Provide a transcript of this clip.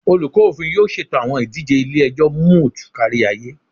Olukọ Ofin yoo ṣeto awọn idije ile-ẹjọ moot kariaye